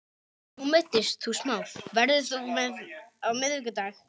Nú meiddist þú smá, verður þú með á miðvikudag?